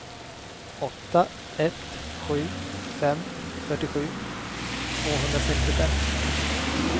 åtta ett sju fem fyrtiosju tvåhundrasextiofem